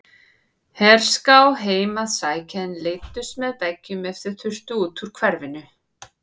Herská heim að sækja en læddust með veggjum ef þau þurftu út úr hverfinu.